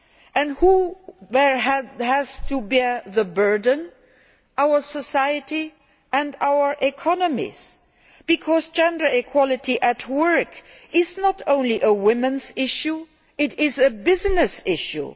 And who has to bear the burden? Our society and our economies because gender equality at work is not only a women's issue it is a business issue.